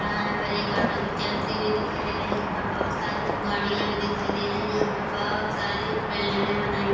यहाँ यहाँ पर एक ऑटो भी चलती हुई दिखाई दे रही है यहाँ पर बहोत सारी गड़ियाँ भी दिखाई दे रही है यहाँ पर बहोत सारी बिल्डिंगे बनाई गई --